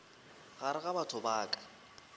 gare ga batho ba ka